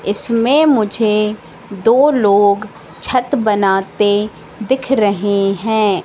इसमें मुझे दो लोग छत बनाते दिख रहे हैं।